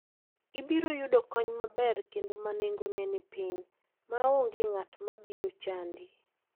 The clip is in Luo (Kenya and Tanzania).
Ibiro yudo kony maber kendo ma nengone ni piny, ma onge ng'at ma biro chandi.